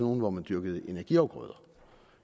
nogle hvor man dyrkede energiafgrøder